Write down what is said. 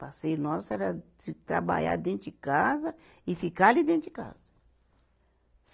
Passeio nosso era se trabalhar dentro de casa e ficar ali dentro de casa.